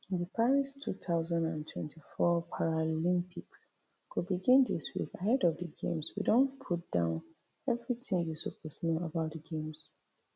di paris two thousand and twenty-four paralympics go begin dis week ahead of di games we don put down evritin you suppose know about di games